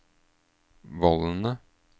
vollene